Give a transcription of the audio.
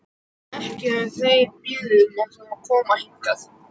Ekki höfðu þeir beðið um að fá að koma hingað.